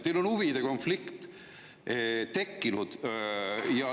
Teil on huvide konflikt tekkinud.